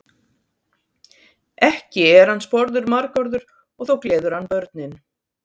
Ekki er hann sporður margorður og þó gleður hann börnin.